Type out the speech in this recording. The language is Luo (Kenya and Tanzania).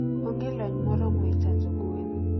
onge lony moromo e chanjo gwen.